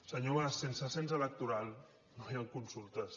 senyor mas sense cens electoral no hi han consultes